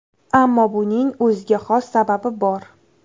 Ammo buning o‘ziga xos sababi bor.